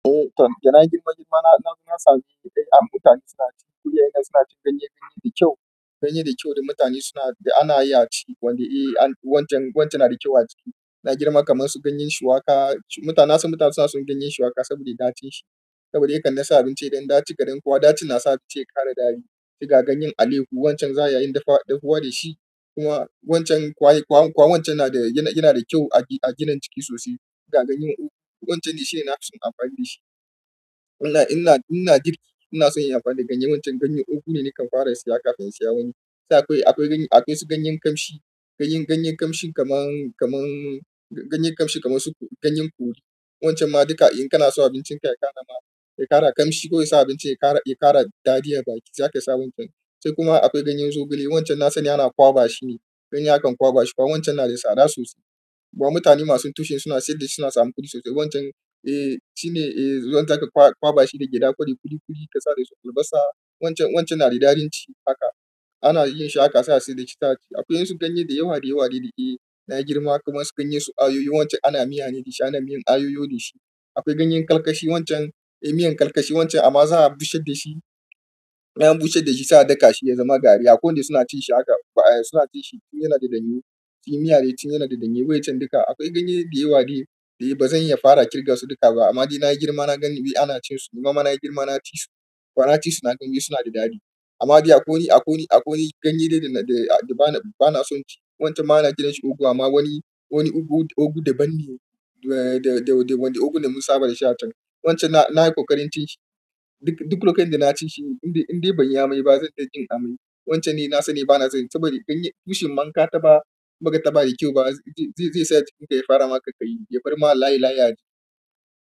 Eh, da na girma girma na sami, eh, mutane suna cin, ko 'ya'yan yan suna cin ganye-ganye da kyau. Ganye da kyau da mutane suna, da ana yi a ci wanda, eh, wancan, wancan na da kyau a ci. Na girma kamar su ganyen shuwaka. Mutane na so, mutane suna son ganyen shuwaka saboda ɗacin shi. Saboda yadda na sa abinci idan ɗaci kaɗan kuwa ɗaci na sa abinci ya ƙara daɗi. Ga ganyen aleyqhu wancan za ya yi dafa, dahuwa da shi. Kuma wancan kwai, kwa, kwa wancan yana da, yana da kyau a gina ciki sosai. Shiga ganyen ugu, wancan shi ne na fi son amfani da shi. Ina, ina, ina girki ina son inyi amfani da ganye wancan ganyen ugu ne nakan fara saya kafin saya wani. Sai akwai, akwai ganye, akwai su ganyen ƙamshi. Ganyen, ganyen kamshin kamar, kamar, ganyen kamshi kamar su ganyen kori. Wancan ma duka in kana so abincinka ya ƙara ma, ya ƙara kamshi ko ya sa abinci ya ƙara, ya ƙara daɗin baki za ka yi sa wancan. Sai kuma akwai ganyen zogale wancan na sani ana kwaɓa shi ne. Ganye akan kwaɓa shi kuwa wancan yana da tsada sosai. Kuma mutane masu tushen suna saida suna samun kuɗi sosai. Wancan, eh, shi ne, eh, wanda ka kwaɓa shi da gyaɗa kwari ƙuli ƙuli ka sa da su albasa wancan, wancan yana da darin ci haka. Ana yin shi haka sa da shi da cita. Akwai wasu ganye da yawa da yawa da, eh, na girma kamar su ganyen su ayoyo wancan ana miya ne da shi, ana yin ayoyo da shi. Akwai ganye kalkashi, wanca miyan kalkashi, wanca amma za'a busha dashi. An bushar da shi sai a daka shi ya zama gari. Akwai waɗanda suna cin shi haka, suna cin shi tun yana da ɗanye. Shi miya dai tun yana da ɗanye wai can duka. Akwai ganye da yawa dai, dai ba zan iya fara kirge su duka ba amma ni na girma na gani, eh, ana cin su. Nima ma na girma na ci su. Wa naci su naga ni suna da daɗi. Amma dai akwai, akwai, akwai ganye da, da, da ba na, ba na son ci. Wancan ma na gina shi ugu amma wani, wani ugu, ugu daban ne. Da, da, wanda ugu da mun saba da shi a can. Wancan na, na yi ƙoƙarin cin shi. Duk lokacin da na ci shi indai, indai ban iya mai ba zan ɗinga jin amai. Wancan ne na sani ba na son yi saboda ganye, bushin manka ta ɓa, in baka taɓa da kyau ba. Zai, zai sa jikinka ya fara maka ƙayi, ya farma layin layiyi.